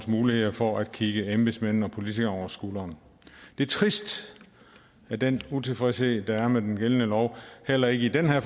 muligheder for at kigge embedsmændene og politikerne over skuldrene det er trist at den utilfredshed der er med den gældende lov heller ikke i den her